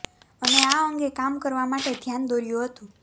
અને આ અંગે કામ કરવા માટે ધ્યાન દોર્યું હતું